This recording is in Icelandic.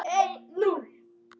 Kæra amma.